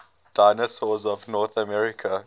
dinosaurs of north america